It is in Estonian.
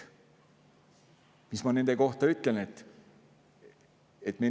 Mis ma nende kohta ütlen?